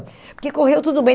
Porque correu tudo bem.